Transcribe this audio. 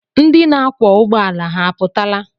Ndị na-akwọ ụgbọala ha apụtala?